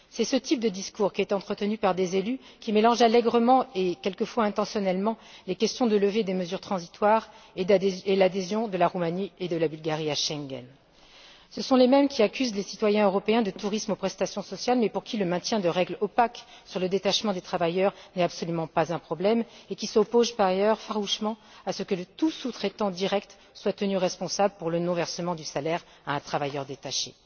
C'est ce type de discours qui est entretenu par des élus qui mélangent allègrement, et quelquefois intentionnellement, les questions de levée des mesures transitoires et l'adhésion de la Roumanie et de la Bulgarie à Schengen. Ce sont les mêmes qui accusent les citoyens européens de tourisme aux prestations sociales mais pour qui le maintien de règles opaques sur le détachement des travailleurs n'est absolument pas un problème, et qui s'opposent par ailleurs farouchement au fait que tout sous traitant direct soit tenu responsable pour le non versement du salaire à un travailleur détaché.